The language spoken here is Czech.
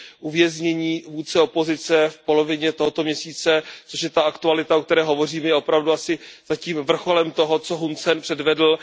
Uvěznění vůdce opozice v polovině tohoto měsíce, což je ta aktualita, o které hovořím, je opravdu asi zatím vrcholem toho, co Hun Sen předvedl.